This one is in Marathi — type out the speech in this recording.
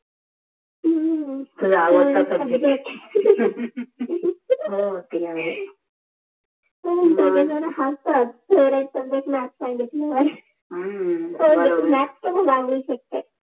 तुझा आवडता सब्जेक्ट हो ते आहेेेच हा सर्व जण हसतात फेवरेट सब्जेक्ट मॅॅॅथ साांगितल्यावर हम्म मॅॅॅथ त मि सागु शकते